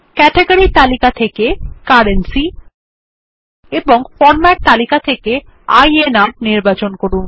category তালিকা থেকে currency এবং ফরম্যাট তালিকা থেকে আইএনআর নির্বাচন করুন